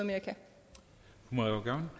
når